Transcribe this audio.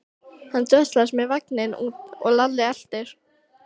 Hann dröslaðist með vagninn út og Lalli elti.